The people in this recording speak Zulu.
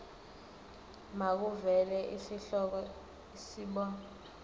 makuvele isihloko isib